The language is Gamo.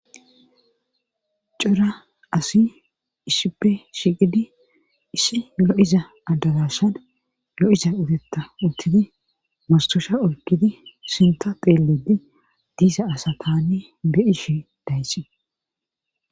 Cora asi issippe shiqidi issi lo'iza adagashan lo'iza utetta uttidi mastusha oykkidi sinta xeellidi diisa asa tanne be'ishi dayxi